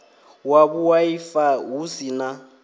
wa vhuaifa hu si na